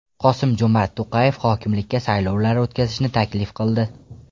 Qosim-Jomart To‘qayev hokimlikka saylovlar o‘tkazishni taklif qildi.